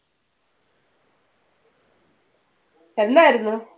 എന്നായിരുന്നു?